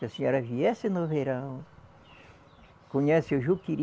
Se a senhora viesse no verão, conhece o juqueri,